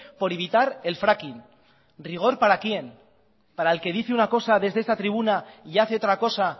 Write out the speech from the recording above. por evitar el fracking rigor para quien para el que dice una cosa desde esta tribuna y hace otra cosa